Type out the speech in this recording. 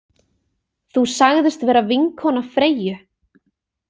Þú sagðist vera vinkona Freyju.